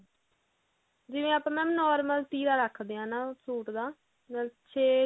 ਜਿਵੇਂ madam ਆਪਾਂ normal ਤੀਰਾ ਰੱਖਦੇ ਆ ਹਨਾ ਸੂਟ ਦਾ ਮਤਲਬ ਛੇ